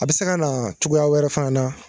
A bi se ka na cogoya wɛrɛ fana na